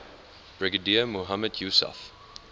brigadier mohammad yousaf